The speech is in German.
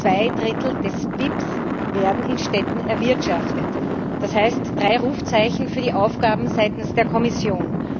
Zwei Drittel des BIP werden in Städten erwirtschaftet das heißt drei Rufzeichen für die Aufgaben seitens der Kommission!